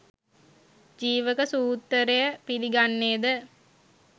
ජීවක සූත්රය පිලිගන්නේද?